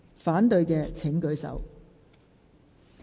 反對的請舉手。